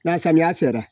Na samiya sera